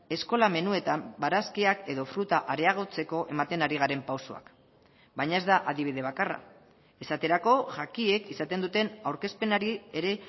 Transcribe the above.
eskola menuetan barazkiak edo fruta areagotzeko ematen ari garen pausoak baina ez da adibide bakarra esaterako jakiek izaten duten aurkezpenari ere